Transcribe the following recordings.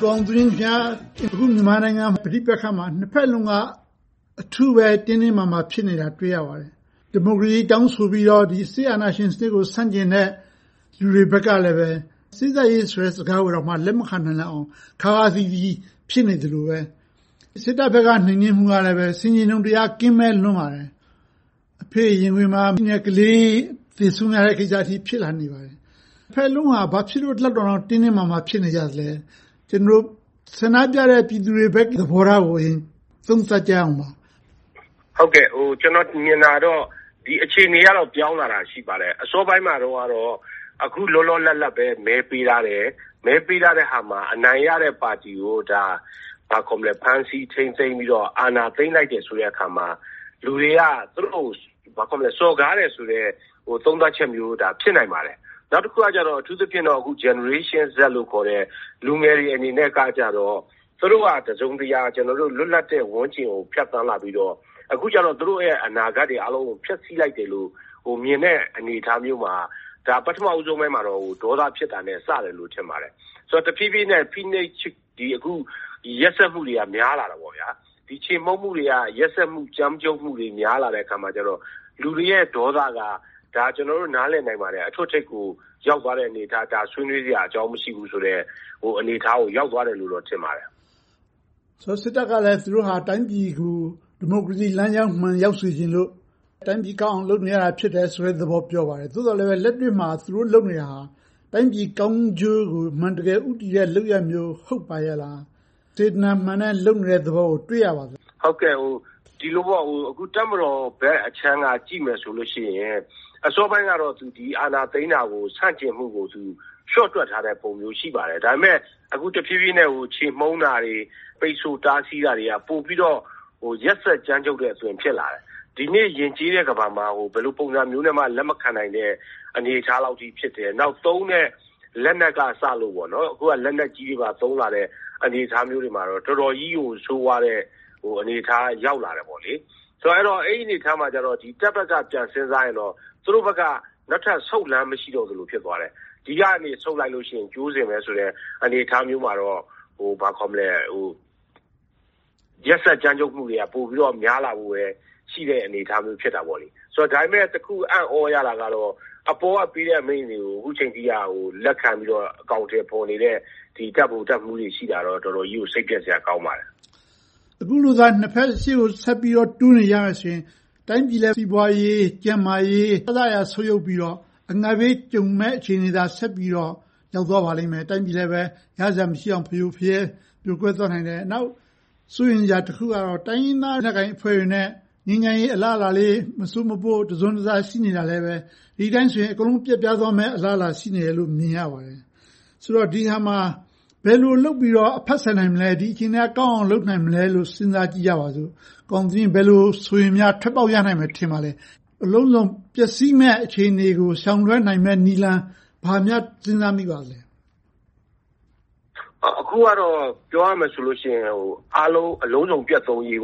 ကိုအောင်သူငြိမ်း.. အခုမြန်မာနိုင်ငံ ပဋိပက္ခမှာ နှစ်ဘက်စလုံးက အထူးပဲ တင်းတင်းမာမာ ဖြစ်နေတာကို တွေ့ရပါတယ်။ ဒီမိုကရေစီ တောင်းဆိုပြီးတော့ စစ်အာဏာရှင်စနစ်ကို ဆန့်ကျင်တဲ့ လူတွေဘက်ကလဲ စေ့စပ်ရေးဆိုတဲ့ စကားကိုတောင် လက်မခံနိုင်လောက်အောင် ခါးခါးသီးသီး ဖြစ်နေသလိုပဲ၊ စစ်တပ်ဘက်က နှိမ်နင်းမှုကလည်း ဆင်ခြင်တုံတရား ကင်းမဲ့လွန်ပါတယ်။ အဖေ့ရင်ခွင်ထဲက ကလေးသေဆုံးရတဲ့ကိစ္စအထိ ဖြစ်လာနေပါတယ်။ နှစ်ဘက်စလုံးက ဘာဖြစ်လို့ ဒီလောက်အထိ တင်းတင်းမာမာ ဖြစ်နေကြသလဲ။ ကျနော်တို့ ဆန္ဒပြနေတဲ့ ပြည်သူတွေဘက် သဘောထားကို အရင်သုံးသပ်ကြည့်ရအောင်ပါ။ ကျနော် မြင်တာတော့ အခြေအနေကတော့ ပြောင်းလာတာ ရှိပါတယ်။ အစောပိုင်းမှာတော့ အခုလောလောလတ်လတ်ပဲ မဲပေးထားတယ်။ မဲပေးထားတဲ့ဟာမှာ အနိုင်ရတဲ့ပါတီကို ဖမ်းဆီးထိန်းသိမ်းပြီးတော့ အာဏာသိမ်းလိုက်တဲ့အခါမှာ လူတွေက သူတို့ကို စော်ကားတယ်ဆိုတဲ့ သုံးသပ်ချက်မျိုး ဖြစ်နိုင်ပါတယ်။ နောက်တခုကတော့ အခု Generation Z လူငယ်တွေအနေနဲ့ကြတော့ သူတို့က တစုံတရာ လွတ်လပ်တဲ့ ဝန်းကျင်ကို ဖြတ်သန်းလာပြီးတော့ အခုကြတော့ သူတို့ရဲ့ အနာဂတ်တွေအားလုံးကို ဖျက်ဆီးလိုက်တယ်လို့ မြင်တဲ့အမြင် အနေအထားမျိုးမှာ ပထမပိုင်းမှာတော့ ဒေါသဖြစ်တာနဲ့ စတယ်လို့ ထင်ပါတယ်။ တဖြည်းဖြည်းနဲ့ ရက်စက်မှုတွေက များလာတယ်။ ချေမှုန်းမှုတွေက ရက်စက်အကြမ်းဖက်မှုတွေ များလာတဲ့အခါကြတော့ လူတွေရဲ့ ဒေါသက ကျနော်တို့ နားလည်နိုင်ပါတယ်။ အထွဋ်အထိပ်ကို ရောက်သွားတဲ့အနေအထား၊ ဆွေးနွေးစရာအကြောင်း မရှိဘူးဆိုတဲ့ အနေအထားကို ရောက်သွားတယ်လို့ ထင်ပါတယ်။ စစ်တပ်ကလည်း သူတို့က တိုင်းပြည်ကို ဒီမိုကရေစီလမ်းကြောင်းမှန် ရောက်စေချင်လို့ တိုင်းပြည်ကောင်းအောင် လုပ်နေရတာ ဖြစ်တယ့်သဘော ပြောပါတယ်။ သို့ပေမယ့် လက်တွေ့မှာ သူတို့လုပ်နေတာက တိုင်းပြည်ကောင်းကျိုးကို အမှန်တကယ် ဦးတည်တဲ့ လုပ်ရပ်မျိုး ဟုတ်ပါရဲ့လား။ စေတနာမှန်နဲ့ လုပ်နေတဲ့သဘောကို တွေ့ရပါသလား။ တပ်မတော်ဘက်ခြမ်းက ကြည့်မယ်ဆိုရင် အစောပိုင်းကတော့ အာဏာသိမ်းတာကို ဆန့်ကျင်မှုကို လျှော့တွက်ထားတဲ့ပုံ ရှိပါတယ်။ ဒါပေမဲ့ အခု တဖြည်းဖြည်းနဲ့ ချေမှုန်းတာတွေ၊ ပိတ်စို့တားဆီးတာတွေက ပိုပြီးတော့ ရက်စက်ကြမ်းကြုတ်လာတယ်။ ဒီနေ့ ယဉ်ကျေးတဲ့ ကမ္ဘာမှာ ဘယ်လိုပုံစံမျိုးနဲ့မှ လက်မခံနိုင်တဲ့ အနေအထားလောက်အထိ ဖြစ်တယ်။ သုံးတဲ့ လက်နက်ကအစ - အခုက လက်နက်ကြီးတွေပါ သုံးလာတဲ့ အနေအထားတွေမှာတော့ တော်တော်ကြီးကို ဆိုးဝါးတဲ့ အနေအထားရောက်လာတယ်။ ဆိုတော့ အဲဒီအနေအထားမှာ တပ်ဘက်က ပြန်စဉ်းစားရင်တော့ သူတို့ဘက်က နောက်ထပ်ဆုတ်လမ်းမရှိတော့သလို ဖြစ်သွားတယ်။။ ဒီကနေ ဆုတ်လိုက်လို့ရှိရင် ကြိုးစင်ပဲ ဆိုတဲ့ အနေအထားမျိုးမှာတော့ ရက်စက်ကြမ်းကြုတ်မှုတွေက ပိုပြီးတော့ များလာမယ့် အနေအထားမျိုး ဖြစ်လာမယ်။ ဒါပေမဲ့ တခုအံ့သြရတာကတော့ အပေါ်ကပေးတဲ့ အမိန့်တွေကို အခုအချိန်အထိ လက်ခံပြီး အကောင်အထည်ဖော်နေတဲ့ တပ်ဗိုလ်တပ်မှူးတွေ ရှိနေတာကတော့ တော်တော်လေး စိတ်ပျက်စရာကောင်းပါတယ်။။ အခုလိုသာ နှစ်ဘက်ရှေ့ကို တိုးနေကြမယ်ဆိုရင် တိုင်းပြည်ရဲ့ စီးပွားရေး၊ ကျန်းမာရေး အစစအရာရာ ဆုတ်ယုတ်ပြီးတော့ အငတ်ဘေးကြုံမယ့် အခြေအနေသာ ဆက်ပြီးတော့ ရောက်သွားပါလိမ့်မယ်။ တိုင်းပြည်လည်း ရစရာမရှိအောင် ဖရိုဖရဲ ပြိုကွဲသွားနိုင်တယ်။ နောက် စိုးရိမ်စရာတခုကတော့ တိုင်းရင်းသားလက်နက်ကိုင်အဖွဲ့တွေနဲ့ ငြိမ်းချမ်းရေးအလားအလာလေး မစို့မပို့ တစွန်းတစ ရှိနေတာလဲ ဒီအတိုင်းဆို အကုန်လုံး ပျက်ပြားသွားမယ့် အလားအလာ ရှိနေတယ်လို့ မြင်ရပါတယ်။ ဆိုတော့ ဒီနေရာမှာ ဘယ်လိုလုပ်ပြီးတော့ အဖတ်ဆယ်နိုင်မလဲ။ ဒီအခြေအနေကနေကောင်းအောင် ဘယ်လိုလုပ်နိုင်မလဲလို့ စဉ်းစားကြည့်ကြပါစို့။ ကိုအောင်သူငြိမ်း ဘယ်လိုဆိုရင် ထွက်ပေါက်ရနိုင်မလဲ။ အလုံးစုံပျက်စီးမယ့် အခြေအနေကို ရှောင်လွဲနိုင်မယ့် နည်းလမ်း ဘာများစဉ်းစားမိပါသလဲ။ အခုကတော့ ပြောရမယ်ဆိုရင် အားလုံးအလုံးစုံပျက်သုန်းရေး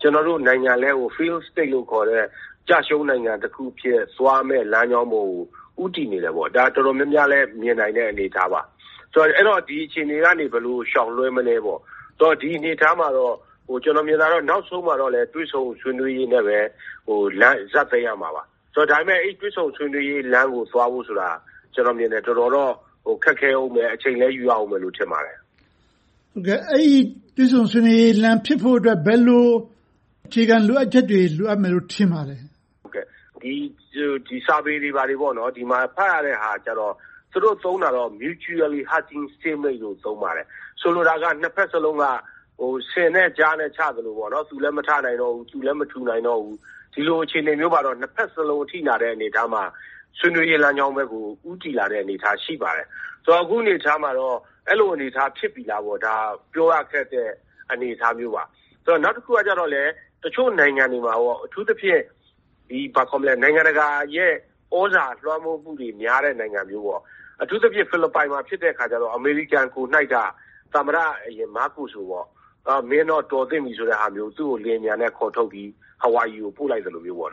ကျနော်တို့နိုင်ငံလည်း Failed State လို့ခေါ်တဲ့ ကျရှုံးနိုင်ငံတစ်ခုအဖြစ် သွားမယ်လမ်းကြောင်းကို ဦးတည်နေတယ်။ ဒါကို တော်တော်များများလည်း မြင်နိုင်တဲ့ အနေအထားပါ။ အဲဒီတော့ ဒီအခြေအနေကနေ ဘယ်လိုရှောင်လွှဲမလဲပေါ့။ ဒီအနေအထားမှာတော့ ကျနော်မြင်တာကတော့ နောက်ဆုံးမှာတော့ တွေ့ဆုံဆွေးနွေးရေးနဲ့ ဇာတ်သိမ်းရမှာပါ။ ဒါပေမဲ့ အဲဒီတွေ့ဆုံဆွေးနွေးရေး လမ်းကိုသွားဖို့ဆိုတာ ကျနော်ထင်တယ် တော်တော်လေး ခက်ခဲအုံးမယ်။ အချိန်လည်းယူရအုံးမယ် ထင်ပါတယ်။ အဲဒီတွေ့ဆုံဆွေးနွေးရေးလမ်းဖြစ်ဖို့ ဘယ်လိုအခြေခံ လိုအပ်ချက်တွေ လိုအပ်မယ်လို့ ထင်ပါသလဲ။ စာပေတွေ ဖတ်ရတဲ့ဟာကတော့ သူတို့သုံးတာကတော့ Mutually Hurting Stalemate လို့ သုံးပါတယ်။ ဆိုလိုတာက နှစ်ဘက်စလုံးက ဆင်နဲ့ကျားနဲ့ ချသလို သူလည်းမထနိုင်တော့ဘူး၊ ထူလည်းမထူနိုင်တော့ဘူး။ ဒီလိုအခြေအနေမျိုးမှာတော့ နှစ်ဘက်စလုံး ချည့်လာတဲ့အနေအထားမှာ ဆွေးနွေးရေးလမ်းကြောင်းဘက်ကို ဦးတည်လာတဲ့ အနေအထား ရှိပါတယ်။ အခုအနေအထားမှာတော့ အဲဒီလို အနေအထား ဖြစ်ပြီလားပေါ့။ ဒါက ပြောရခက်တဲ့ အနေအထားမျိုးပါ။ နောက်တခုကတော့ တချို့နိုင်ငံတွေမှာ အထူးသဖြင့် နိုင်ငံတကာရဲ့ သြဇာလွှမ်းမိုးမှုတွေ များတဲ့နိုင်ငံမျိုး။ အထူးသဖြင့် ဖီလစ်ပိုင်မှာဖြစ်တဲ့အခါကြတော့ အမေရိကန်ကိုယ်နှိုက်က သမ္မတမားကိုစ်ကို မင်းတော့ တော်သင့်ပြီဆိုတာမျိုး၊ သူ့ကို လေယာဉ်ပျံနဲ့ ခေါ်ထုတ်ပြီး ဟာဝိုင်ရီကို ပို့လိုက်သလိုမျိုး။ အဲဒီ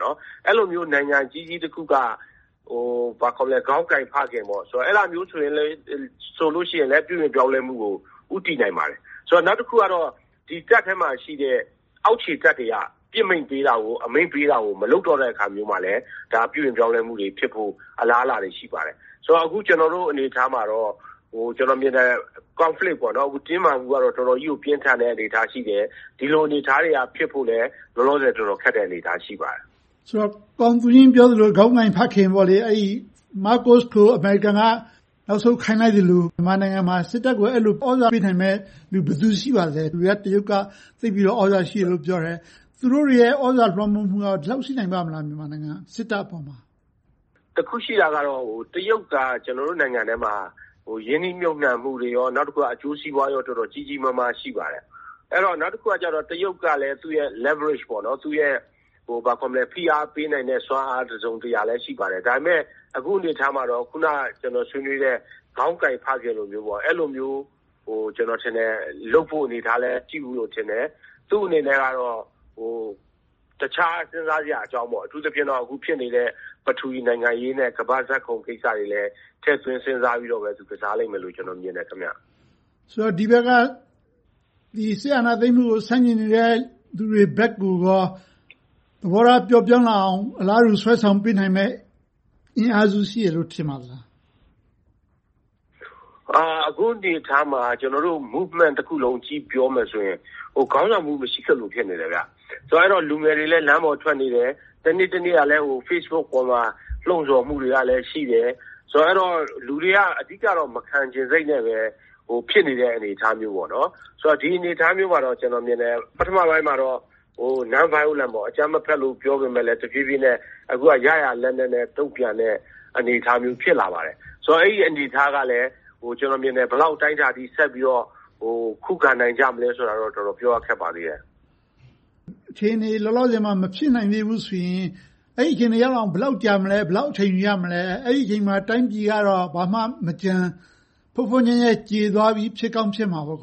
လိုမျိုး နိုင်ငံကြီးကြီးတခုက ခေါင်းကိုင်ဖခင်မျိုး ဆိုရင်လဲ ပြုပြင်ပြောင်းလဲမှုကို ဦးတည်နိုင်ပါတယ်။ နောက်တခုကတော့ တပ်ထဲမှာရှိတဲ့ အောက်ခြေတပ်တွေက ပစ်မိန့်ပေးတာကို မလုပ်တော့တဲ့အခါမျိုးမှာလဲ ပြုပြင်ပြောင်းလဲမှုတွေဖြစ်ဖို့ အလားအလာတွေ ရှိပါတယ်။ ကျနော်တို့ အနေအထားမှာတော့ ကျနော်မြင်တဲ့ Conflict တင်းမာမှုကတော့ တော်တော်ကြီးကို ပြင်းထန်တဲ့ အနေအထားရှိတယ်။ ဒီလိုအနေအထားတွေက ဖြစ်ဖို့လဲ လောလောဆယ် ခက်တဲ့အနေအထားမှာ ရှိပါတယ်။ ဆိုတော့ ကိုအောင်သူငြိမ်း ပြောသလို ခေါင်းကိုင်ဖခင် - မားကိုစ်ကို အမေရိကန်က နောက်ဆုံးကိုင်လိုက်သလို၊ မြန်မာနိုင်ငံမှာ စစ်တပ်ကို အဲဒီလို သြဇာခံမယ်လူ ဘယ်သူရှိပါသလဲ။ တရုတ်က သိပ်ပြီးတော့ သြဇာရှိတယ်လို့ ပြောကြတယ်။ သူတို့တွေရဲ့ သြဇာလွှမ်းမိုးမှုက ဒီလောက်ရှိနိုင်ပါ့မလား။ စစ်တပ်အပေါ်မှာ။ တခုရှိတာက တရုတ်က ကျနော်တို့ နိုင်ငံတွင်းမှာ ရင်းနှီးမြုပ်နံှမှုတွေ၊ အကျိုးစီးပွားတွေ တော်တော်ကြီးကြီးမားမား ရှိပါတယ်။ နောက်တခုက တရုတ်က သူ့ရဲ့ leverage ဖိအားပေးနိုင်တဲ့ စွမ်းအားတစုံတရာလည်း ရှိပါတယ်။ ဒါပေမဲ့ အခုအနေအထားမှာတော့ ကျနော်ဆွေးနွေးတဲ့ ခေါင်းကိုင်ဖခင်လိုမျိုးကို ကျနော်ထင်တယ် လုပ်ဖို့အနေအထားလည် မရှိဘူးလို့ထင်တယ်။ သူ့အနေနဲ့တော့ တခြားစဉ်းစားစရာအကြောင်း၊ အထူးသဖြင့် အခုဖြစ်နေတဲ့ ပထဝီနိုင်ငံရေးနဲ့ ကမ္ဘာ့ဇာတ်ခုံကိစ္စတွေလည်း ထည့်သွင်းစဉ်းစားပြီးတော့ ကစားလိမ့်မယ်လို့ ကျနော်မြင်တယ်။ ဒီဘက်က စစ်အာဏာသိမ်းမှုကို ဆန့်ကျင်နေတဲ့ လူတွေဘက်ကိုရော သဘောထားပျော့ပျောင်းလာအောင် အလားတူဆွဲဆောင်ပေးနိုင်မယ့် အင်အားစု ရှိမယ်လို့ ထင်ပါသလား။ အခုအနေအထားမှာ Movement တခုလုံးကို ကြည့်ပြောမယ်ဆိုရင် ခေါင်းဆောင်မှု မရှိသလို ဖြစ်နေတယ်။ ဆိုတော့ လူငယ်တွေလည်း လမ်းပေါ်ထွက်နေတယ်။ တနေ့တနေ့ Facebook ပေါ်မှာ လှုံဆော်မှုတွေကလည်း ရှိတယ်။ ဆိုတော့ လူတွေက အဓိကတော့ မခံချင်စိတ်နဲ့ပဲ ဖြစ်နေတဲ့ အနေအထားမျိုး၊ ဒီအနေအထားမျိုးမှာတော့ ကျနော်မြင်တယ် ပထမပိုင်းမှာတော့ Non-violence အကြမ်းမဖက်လို့ ပြောပေမယ့်လဲ တဖြည်းဖြည်းနဲ့ အခုက ရရာလက်နက်နဲ့ တုံ့ပြန်နေတဲ့ အနေအထားမျိုး ဖြစ်လာပါတယ်။ ဆိုတော့ အဲဒီအနေအထားကလဲ ဘယ်လောက်အတိုင်းအတာအထိ ဆက်ပြီးတော့ ခုခံနိုင်ကြမလဲဆိုတာတော့ တော်တော်ပြောရခက်ပါသေးတယ်။ အခြေအနေ လောလောဆယ်မှာ မဖြစ်နိုင်သေးဘူးဆိုရင် အဲဒီအခြေအနေ ရောက်လာအောင် ဘယ်လောက်ကြာမလဲ။ ဘယ်လောက် အချိန်ယူရမလဲ။ အဲဒီအချိန်မှာ တိုင်းပြည်ကတော့ ဘာမှမကျန်၊ ဖွတ်ဖွတ်ညှက်ညှက်ကျေသွားပြီး ဖြစ်ကောင်းဖြစ်မှာပေါ့။ အ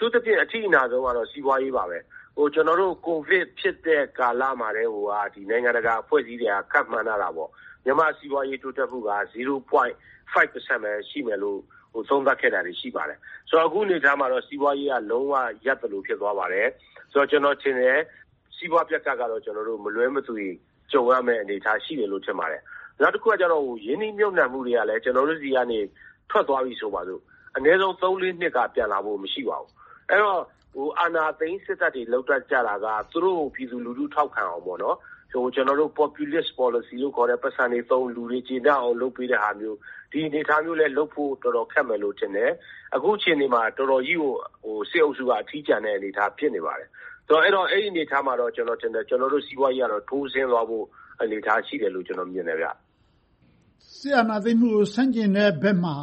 ထူးသဖြင့် အထိအနာဆုံးကတော့ စီးပွားရေးပါပဲ။ ကျနော်တို့ ကိုဗစ် ဖြစ်တဲ့ကာလမှာကတည်းက နိုင်ငံတကာအဖွဲ့အစည်းတွေက ခန့်မှန်းထားတာ မြန်မာ့စီးပွားရေး တိုးတက်မှုက ဝ.၅ ရာခိုင်နှုန်းပဲ ရှိမယ်လို့ သုံးသပ်ခဲ့တာတွေ ရှိပါတယ်။ အခုအနေအထားမှာတော့ စီးပွားရေးက လုံးဝရပ်သလို ဖြစ်သွားပါတယ်။ ကျနော်ထင်တယ် စီးပွားပျက်ကပ်ကတော့ မလွှဲမသွေ ကြုံရမယ့်အနေအထား ရှိတယ်လို့ ထင်ပါတယ်။ နောက်တခုကတော့ ရင်းနှီးမြုပ်နံှမှုတွေကလဲ ကျနော်တို့ဆီက ထွက်သွားပြီဆိုပါစို့ အနည်းဆုံး သုံးလေးနှစ်က ပြန်လာဖို့ မရှိပါဘူး။ အဲဒီတော့ အာဏာသိမ်း စစ်တပ်တွေ လုပ်တတ်ကြတာက သူတို့ကို ပြည်သူလူထု ထောက်ခံအောင် Populist Policy ခေါ်တဲ့ ပိုက်ဆံတွေသုံး၊ လူတွေကျေနပ်အောင် လုပ်ပေးတာဟာမျိုး။ ဒီအနေအထားမျိုး လုပ်ဖို့လည်း တော်တော်လေး ခက်မယ်လို့ ထင်တယ်။ အခုအခြေအနေမှာ တော်တော်ကြီးကို စစ်အုပ်စု အထီးကျန်မယ့်အနေအထား ဖြစ်နေပါတယ်။ အဲဒီအနေအထားမှာတော့ ကျနော်တို့ စီးပွားရေးက ထိုးဆင်းသွားမယ့် အနေအထား ရှိတယ်လို့ ကျနော် မြင်တယ်။ စစ်အာဏာသိမ်မှုကို ဆန့်ကျင်တဲ့ဘက်မှာ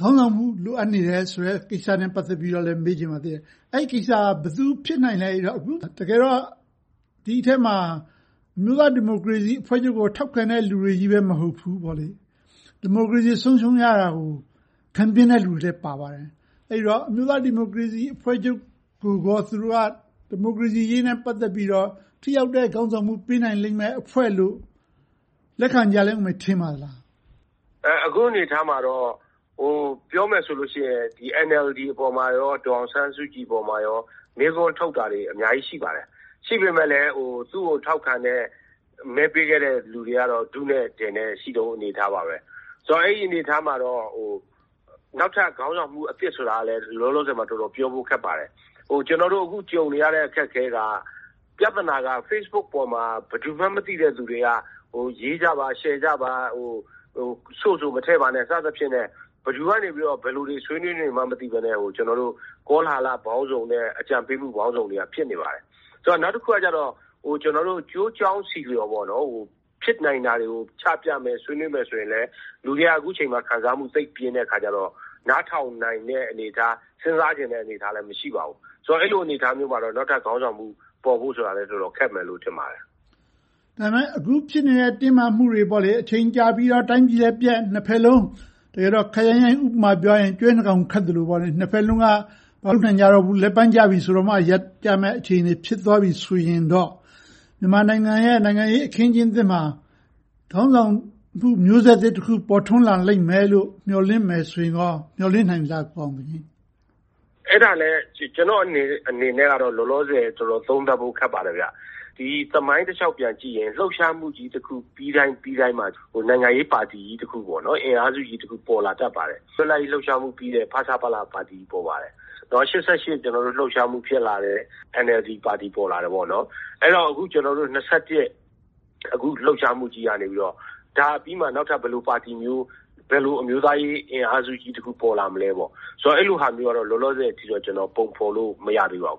ခေါင်းဆောင်မှု လိုအပ်နေတယ်ဆိုတဲ့ ကိစ္စနဲ့ ပတ်သက်ပြီးတော့ မေးချင်ပါတယ်။ အဲဒီကိစ္စက ဘယ်သူဖြစ်နိုင်လဲ။ အခု တကယ်တော့ ဒီအထဲမှာ အမျိုးသားဒီမိုကရေစီအဖွဲ့ချုပ်ကို ထောက်ခံနေတဲ့ လူတွေကြီးပဲ မဟုတ်ဘူး၊ ဒီမိုကရေစီ ဆုံးရှုံးရတာကို ခံပြင်းတဲ့ လူတွေလည်း ပါပါတယ်။ အဲဒီတော့ အမျိုးသားဒီမိုကရေစီအဖွဲ့ချုပ်ကို သူတို့က ဒီမိုကရေစီအရေးနဲ့ ပတ်သက်ပြီးတော့ ထိရောက်တဲ့ ခေါင်းဆောင်မှု ပေးနိုင်မယ့် အဖွဲ့လို့ လက်ခံကြမယ်လို့ ထင်ပါသလား။ အခုအနေအထားမှာတော့ ပြောမယ်ဆိုလို့ရှိရင် NLD နဲ့ ဒေါ်အောင်ဆန်းစုကြည်အပေါ် မေးခွန်းထုတ်တာတွေ အများကြီး ရှိပါတယ်။ ရှိပေမယ့်လဲ သူကို ထောက်ခံတဲ့ မဲပေးခဲ့တဲ့ လူတွေကတော့ ထုနဲ့ထယ်နဲ့ ရှိတုန်းအနေအထားပါ။ ဆိုတော့ အဲဒီအနေအထားမှာတော့ နောက်ထပ်ခေါင်းဆောင်မှု အသစ်ဆိုတာလဲ လောလောဆယ်မှာ တော်တော်ပြောဖို့ခက်ပါတယ်။ ကျနော်တို့ အခုကြုံနေရတဲ့ အခက်အခဲက ပြဿနာက Facebook ပေါ်မှာ ဘယ်သူမှန်းမသိတဲ့ လူတွေက ရေးကြပါ၊ ရှယ်ကြပါ၊ Source ကို မထည့်ပါနဲ့ စသည်ဖြင့် ဘယ်သူတွေက ဘယ်လိုဆွေးနွေးနေမှန်း မသိဘဲနဲ့ ကောလဟာလပေါင်းစုံနဲ့ အကြံပေးမှုပေါင်းစုံတွေက ဖြစ်နေပါတယ်။ နောက်တခုကတော့ ကျနော်တို့ ကျိုးကြောင်းဆီလျော် ဖြစ်နိုင်တာတွေကို ချပြမယ်၊ ဆွေးနွေးမယ်ဆိုရင်လဲ လူတွေက အခုအချိန်မှာ ခံစားမှု သိပ်ပြင်းထန်နေတော့ နားထောင်နိုင်တဲ့ အနေအထား၊ စဉ်းစားချင်တဲ့ အနေအထားလည်း မရှိပါဘူး။ အဲဒီလို အနေအထားမျိုးမှာ နောက်ထပ်ခေါင်းဆောင်မှု ပေါ်ဖို့ဆိုတာလဲ တော်တော်ခက်မယ်လို့ ထင်ပါတယ်။ ဒါပေမဲ့ အခုဖြစ်နေတဲ့ တင်းမာမှုတွေက အချိန်ကြာပြီးတော့ တိုင်းပြည်လည်းပျက်၊ နှစ်ဘက်လုံး ခပ်ရိုင်းရိုင်း ဥပမာနဲ့ပြောရရင် ကျွဲနှစ်ကောင်းခတ်သလို နှစ်ဘက်စလုံးက မခတ်နိုင်ကြတော့ဘူး၊ လက်ပန်းကျမှ ရပ်ကြမယ့် အခြေအနေ ဖြစ်သွားပြီဆိုရင်တော့ မြန်မာနိုင်ငံရဲ့ နိုင်ငံရေးအခင်းအကျင်းသစ်မှာ ခေါင်းဆောင်မှု မျိုးဆက်သစ်တခု ပေါ်ထွန်းလာလိမ့်မယ်လို့ မျှော်လင့်မယ်ဆိုရင်ကော မျှော်လင့်နိုင်သလား။ အဲဒါလဲ ကျနော့်အနေနဲ့တော့ လောလောဆယ် သုံးသပ်ဖို့ ခက်ပါတယ်။ သမိုင်းတလျှောက်ပြန်ကြည့်ရင် လှုပ်ရှားမှုကြီးတခု ပြီးတိုင်းပြီးတိုင်းမှာ နိုင်ငံရေးပါတီကြီးတခု အင်အားစုကြီးတခု ပေါ်လာတတ်ပါတယ်။ လွတ်လပ်ရေး လှုပ်ရှားမှုကြီးပြီးတော့ ဖဆပလပါတီ ပေါ်ပါတယ်။ ၈၈ လှုပ်ရှားမှု ဖြစ်လာတယ်။ NLD ပါတီ ပေါ်လာတယ်။ အဲဒီတော့ အခု ၂၁ လှုပ်ရှားမှုကြီးကနေ ဒါပြီးနောက် နောက်ထပ်ဘယ်လိုပါတီမျိုး၊ ဘယ်လိုအမျိုးသားရေးအင်အားစုကြီး ပေါ်လာမလဲပေါ့။ အဲဒီလိုဟာမျိုးကတော့ လောလောဆယ်မှာတော့ ပုံဖော်လို့ မရသေးပါဘူ